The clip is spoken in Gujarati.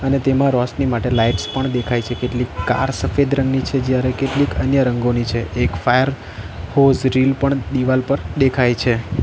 અને તેમાં રોશની માટે લાઇટ્સ પણ દેખાય છે કેટલીક કાર સફેદ રંગની છે જ્યારે કેટલીક અન્ય રંગોની છે એક ફાયર હોઝ રીલ પણ દિવાલ પર દેખાય છે.